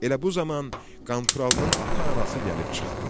Elə bu zaman Qanturalının ata anası gəlib çıxdı.